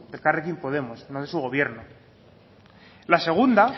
elkarrekin podemos no de su gobierno la segunda